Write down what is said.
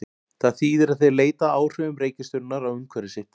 Það þýðir að þeir leita að áhrifum reikistjörnunnar á umhverfi sitt.